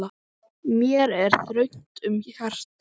Mér er þröngt um hjarta.